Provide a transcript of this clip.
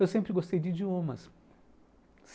Eu sempre gostei de idiomas.